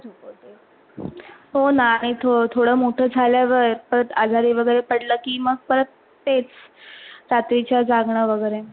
हो ना, तो थोडा मोठा झाल्यवर आजरी वगैरे पडल की परत तेच रात्रिच जागरण वगैरे.